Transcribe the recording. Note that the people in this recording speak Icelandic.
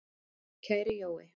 Kæri Jói.